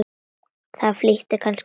Það flýtir kannski fyrir.